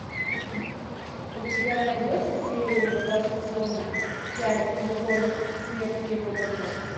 у тебя найдется серия два сезона пять любовь смерть и роботы